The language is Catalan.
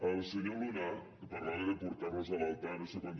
al senyor luna que parlava de portar nos a l’altar no sé quan